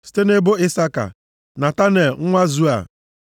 site nʼebo Isaka, Netanel nwa Zua,